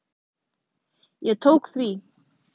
Ég tók því.